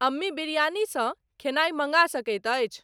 अम्मी बिरयानीसॅ खेनाई मंगा सकइत अछि?